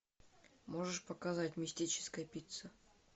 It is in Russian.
можешь показать мистическая пицца